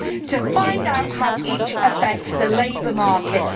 To find out how each affects the labour market.